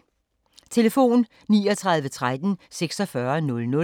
Telefon: 39 13 46 00